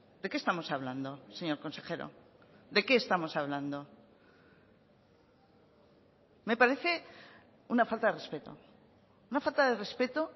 de qué estamos hablando señor consejero de qué estamos hablando me parece una falta de respeto una falta de respeto